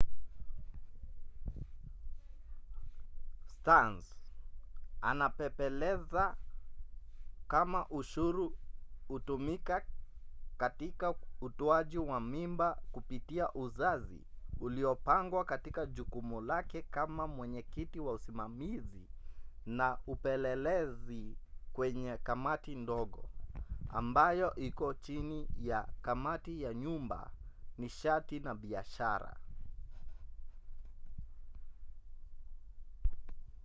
stearns anapepeleza kama ushuru hutumika katika utoaji wa mimba kupitia uzazi uliopangwa katika jukumu lake kama mwenyekiti wa usimamizi na upelelezi kwenye kamati ndogo ambayo iko chini ya kamati ya nyumba nishati na biashara